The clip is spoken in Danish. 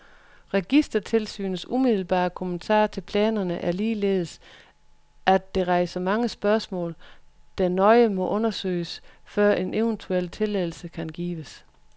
Registertilsynets umiddelbare kommentar til planerne er ligeledes, at det rejser mange spørgsmål, der nøje må undersøges før en eventuel tilladelse kan gives.